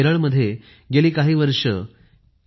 केरळ मध्ये गेली काही वर्षे पी